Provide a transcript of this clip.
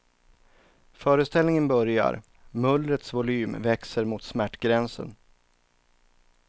Föreställningen börjar, mullrets volym växer mot smärtgränsen.